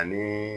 Ani